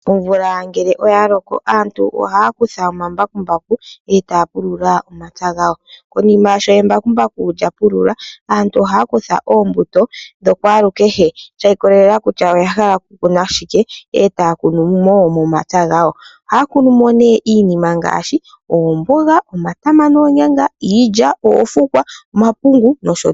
Omvula ngele oyaloko, aantu ohaya kutha omambakumbaku e taya pulula omapya gawo. Ko nima sho embakumbaku lya pulula aantu ohaya kutha oombuto dhokwaaalu kehe shi ikolelela kutya oyaala okukuna shike, etaya kunu momapya gawo. Ohaya kunu mo nee iinima ngaashi oomboga, omatama noonyanga, iilya, oofukwa, omapungu nosho tuu.